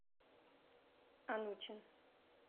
онучин